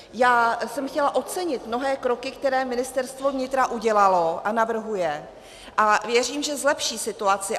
Já jsem chtěla ocenit mnohé kroky, které Ministerstvo vnitra udělalo a navrhuje, a věřím, že zlepší situaci.